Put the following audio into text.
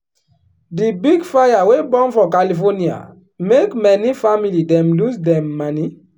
di big fire wey burn for california make many family dem lose dem moni.